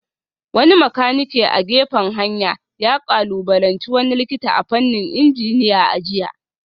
Wani makanike a gefen hanya ya kalubalanci wani likita a fannin injiniya a jiya